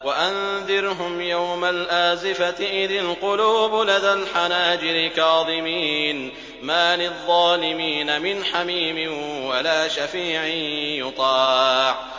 وَأَنذِرْهُمْ يَوْمَ الْآزِفَةِ إِذِ الْقُلُوبُ لَدَى الْحَنَاجِرِ كَاظِمِينَ ۚ مَا لِلظَّالِمِينَ مِنْ حَمِيمٍ وَلَا شَفِيعٍ يُطَاعُ